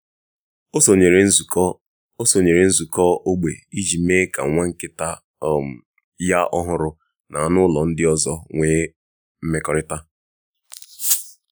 ọ sonyere nzukọ ọ sonyere nzukọ ógbè iji mee ka nwa nkịta um ya ọhụrụ na anụ ụlọ ndị ọzọ nwee mmekọrịta.